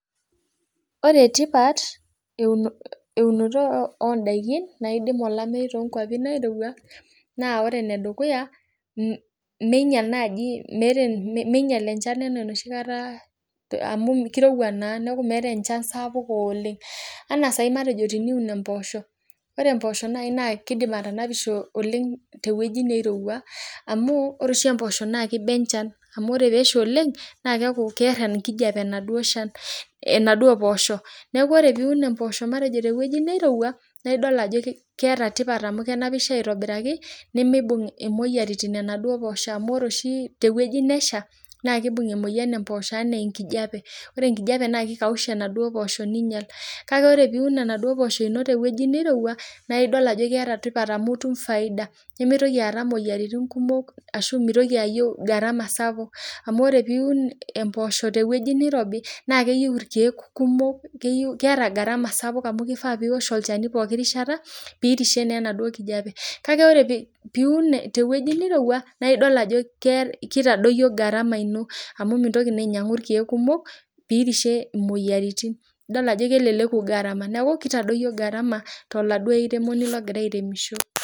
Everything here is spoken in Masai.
Ore etipat eunoto ondaiki naidim olomeyu too inkuapi naireuwa, nedukuya meinyal naaji enchan ena noshikata amu keireuwa naa naaku meatae enchan sapuk oleng, anaa saii matejo teniun emposho, ore emposho nai naa keidim atanapisho oleng teweji neirewua amuu ore oshi emposho naa keiba enchan amu ore peesha oleng naa keaku kear enkijepe enaduo shan, enaduo mpoosho, naaku ore piun emposho matejo teweji neirewua naidol ajo keata tipat amu kenapisho aitobiraki nemeibung' emoyiaritin enaduo posho amu ore oshi teweji nesha naa keibung emoyian emposho anaa enkijepe, ore enkijepe naa keikausha enaduo posho neinyal kale ore piiwun enaduo poosho ino teweji neirewua naa idol ajo keata tipat amu itum efaida, nemeitoki aata imoyiaritin kumok ashu meitoki ayeu garama sapuk amu ore piiwun emposho teweji neirobi naa keyeu irkeek kumok, keyeu keata egarama sapuk amu keifaa piosh olchani pooki rishata piirishe naa enaduo nkijepe kake ore piiun teweji neireuwua naa idol ajo keitadoiyo garama ino amu mintoki naa ainyangu irkeek kumok piirishe imoyiaritin, idol ajo keleleku gatama naaku keitadoiyo garama garama te laduo ilairemoni logira aremisho.